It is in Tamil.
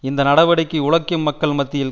இந்த நடவடிக்கை உழைக்கும் மக்கள் மத்தியில்